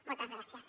moltes gràcies